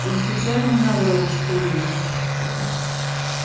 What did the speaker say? он специально наврал что ли